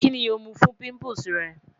Kini o mu fun pimples rẹ?